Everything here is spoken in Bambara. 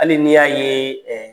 Hali ni y'a ye ɛɛ